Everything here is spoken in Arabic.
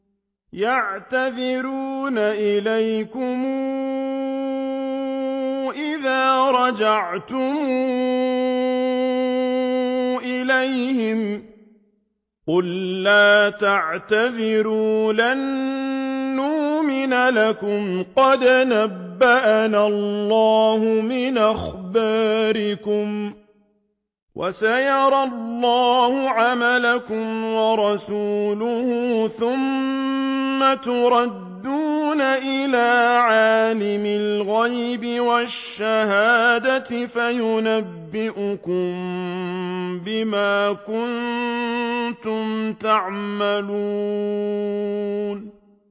يَعْتَذِرُونَ إِلَيْكُمْ إِذَا رَجَعْتُمْ إِلَيْهِمْ ۚ قُل لَّا تَعْتَذِرُوا لَن نُّؤْمِنَ لَكُمْ قَدْ نَبَّأَنَا اللَّهُ مِنْ أَخْبَارِكُمْ ۚ وَسَيَرَى اللَّهُ عَمَلَكُمْ وَرَسُولُهُ ثُمَّ تُرَدُّونَ إِلَىٰ عَالِمِ الْغَيْبِ وَالشَّهَادَةِ فَيُنَبِّئُكُم بِمَا كُنتُمْ تَعْمَلُونَ